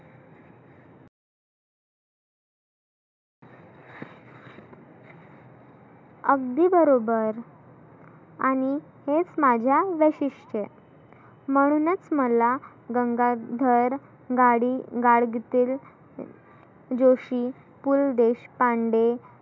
अगदी बरोबर . आणि हेच माझ्या वैशिष्ट्य म्हणुनच मला गंगाधर गाडी गाडगीतील, जोशी, पु ल देशपांडे